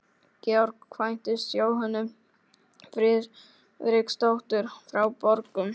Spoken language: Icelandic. Georg kvæntist Jóhönnu Friðriksdóttur frá Borgum.